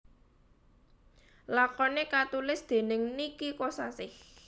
Lakoné katulis dèning Niki Kosasih